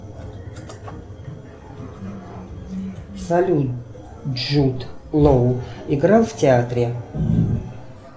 салют джуд лоу играл в театре